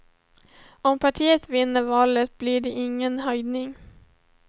Om partiet vinner valet blir det ingen höjning.